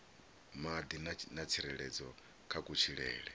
madi na tsireledzo kha kutshilele